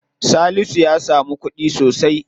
Tasi'u ya samu kuɗi sosai.